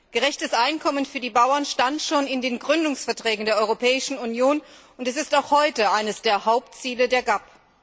Gerechtes Einkommen für die Bauern stand schon in den Gründungsverträgen der Europäischen Union und ist auch heute eines der Hauptziele der GAP.